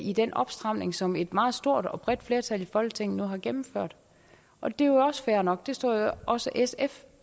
i den opstramning som et meget stort og bredt flertal i folketinget nu har gennemført og det er jo også fair nok det står jo også sf